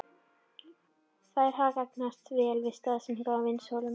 Þær hafa gagnast vel við staðsetningu á vinnsluholum.